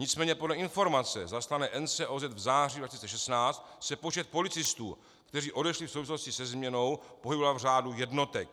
Nicméně podle informace zaslané NCOZ v září 2016 se počet policistů, kteří odešli v souvislosti se změnou, pohyboval v řádu jednotek.